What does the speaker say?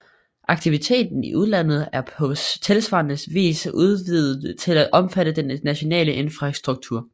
Aktiviteten i udlandet er på tilsvarende vis udvidet til at omfatte den nationale infrastruktur